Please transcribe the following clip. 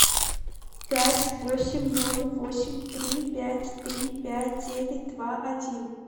пять восемь ноль восемь три пять три пять девять два один